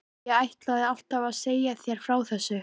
Ég ætlaði alltaf að segja þér frá þessu.